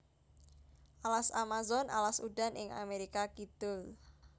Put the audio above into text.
Alas Amazon alas udan ing Amerika Kidul